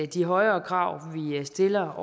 de højere krav vi stiller